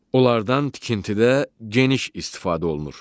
Onlardan tikintidə geniş istifadə olunur.